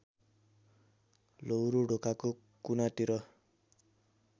लौरो ढोकाको कुनातिर